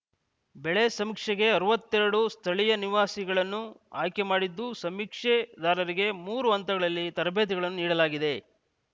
ಬೆಳೆ ಸಮೀಕ್ಷೆಗೆ ಅರವತ್ತೆರಡು ಸ್ಥಳೀಯ ನಿವಾಸಿಗಳನ್ನು ಆಯ್ಕೆ ಮಾಡಿದ್ದು ಸಮೀಕ್ಷೆದಾರರಿಗೆ ಮೂರು ಹಂತಗಳಲ್ಲಿ ತರಬೇತಿಗಳನ್ನು ನೀಡಲಾಗಿದೆ